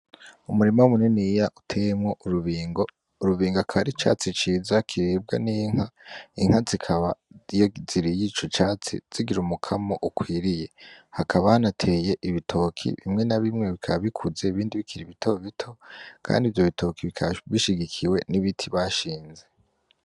Umurima muniniya uteyemwo urubingo. Urubingo kikaba ari icatsi ciza kiribwa n'inka. Inka zikaba iyo ziriye ico catsi zigira umukamo ukwiriye. Hakaba hanateye ibitoke, bimwe na bimwe bikaba bikiri bitobito. Kandi ivyo bitoke bikaba bishigikiwe n'ibiti bashinze.